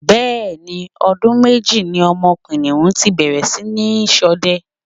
bẹ́ẹ̀ ni, ọdún méjì ni ọmọ kìnìhún ti bẹ̀rẹ̀ sí ní ṣọdẹ.